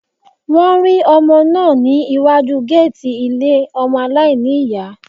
Wọ́n rí ọmọ náà iwájú géètì ilé ọmọ aláìní ìyá